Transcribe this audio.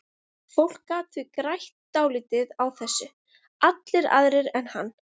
Fólk gat því grætt dálítið á þessu, allir aðrir en hann.